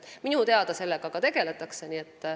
Minu teada sellega juba tegeldakse.